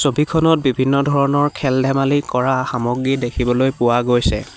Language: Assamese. ছবিখনত বিভিন্ন ধৰণৰ খেল-ধেমালি কৰা সামগ্ৰী দেখিবলৈ পোৱা গৈছে।